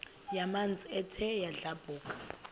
yamanzi ethe yadlabhuka